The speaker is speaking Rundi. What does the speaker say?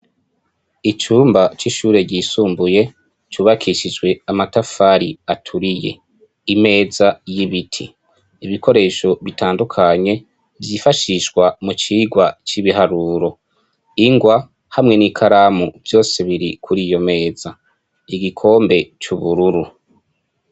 Icumba c'ishure ryisumbuye cubakishijwe amatafari aturiye imeza y'ibiti ibikoresho bitandukanye vyifashishwa mu cigwa c'ibiharuro ingwa hamwe n'i karamu vyose biri kuri iyo meza igikombe c'ubururu.